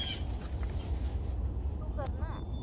तू कर ना